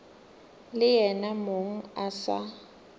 le yena mong a sa